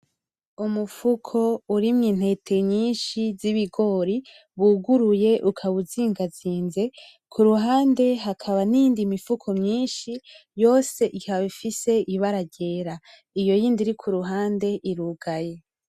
Umufuko urimw'intete nyinshi z'ibigori wuguruye ,ukaba uzingazinze ,kuruhande hakaba n'iyindi mufuko myinshi yose ikaba ifise ibara ryera ;iyo yindi iri kuruhande irugaye.